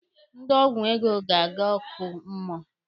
Ndị ọgwụ ego ga-aga ọkụ mmụọ.